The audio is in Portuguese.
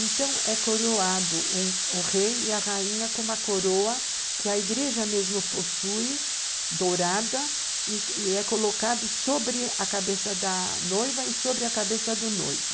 Então, é coroado o rei e a rainha com uma coroa que a igreja mesmo possui, dourada, e é colocada sobre a cabeça da noiva e sobre a cabeça do noivo.